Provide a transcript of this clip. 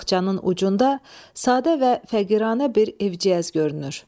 Bağçanın ucunda sadə və fəqiranə bir evciyəz görünür.